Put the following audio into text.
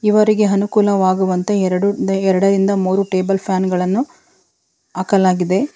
ಇವರಿಗೆ ಅನುಕೂಲವಾಗುವಂತೆ ಎರಡು ಎರಡರಿಂದ ಮೂರು ಟೇಬಲ್ ಫ್ಯಾನ್ ಗಳನ್ನು ಹಾಕಲಾಗಿದೆ.